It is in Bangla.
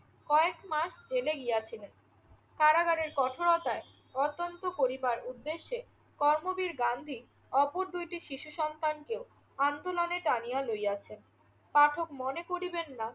কয়েক মাস জেলে গিয়াছিলেন, কারাগারের কঠোরতায় গত্যন্তর করিবার উদ্দেশ্যে কর্মবীর গান্ধী অপর দুইটি শিশু সন্তানকেও আন্দোলনে টানিয়া লইয়াছেন। পাঠক মনে করিবেন না